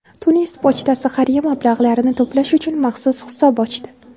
Tunis pochtasi xayriya mablag‘larini to‘plash uchun maxsus hisob ochdi.